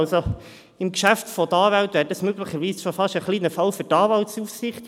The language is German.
Im Rahmen eines Geschäfts von Anwälten wäre dies möglicherweise ein Fall für die Anwaltsaufsicht.